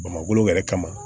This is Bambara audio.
Bamakɔ yɛrɛ kama